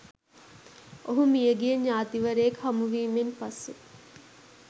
ඔහු මිය ගිය ඥාතිවරයෙක් හමුවීමෙන් පසු